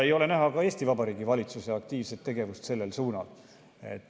Ei ole näha ka Eesti Vabariigi valitsuse aktiivset tegevust sellel suunal.